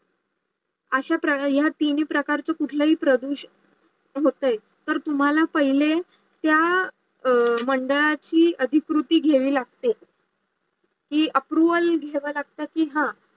अशा प्रकारचे हा तीनही प्रकारचे कुठलाही प्रदूषण होत्यें तर तुम्हाला पाहिले त्या आह मंडळाची अधिकृती घेयावी लागते. हे Approval घेवा लागता की हा